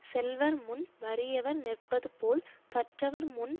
செல்வர் முன் வறியவர் நிற்பது போல் கற்றவர்முன்